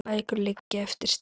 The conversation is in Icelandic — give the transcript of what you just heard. Sex bækur liggja eftir Stefán